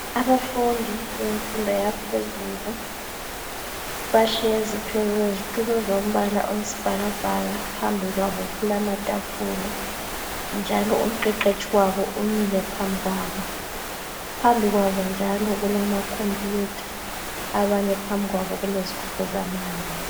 Abafundi bemfundo yaphezulu bahlezi phezu kwezitulo zombala oyisibhakabhaka. Phambikwabo kulamatafula njalo umqeqetshi wabo umi phambikwabo. Phambikwabo kulama Computer, banye phambikwabo kulezigubhu zamanzi.